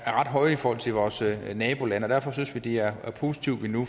høje i forhold til vores nabolande og derfor synes vi det er positivt at vi nu